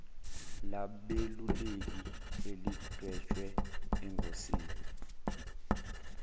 labeluleki elidwetshwe engosini